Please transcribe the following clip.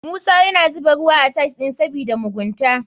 Musa yana zuba ruwa a tiles ɗin sabida mugunta.